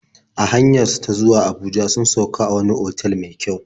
A hanyar su ta zuwa Abuja sun sauk a wani otal mai kyau.